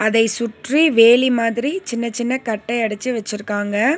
அதை சுற்றி வேலி மாதிரி சின்ன சின்ன கட்டை அடிச்சு வெச்சிருக்காங்க.